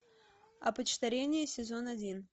опочтарение сезон один